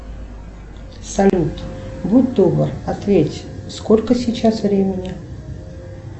салют будь добр ответь сколько сейчас времени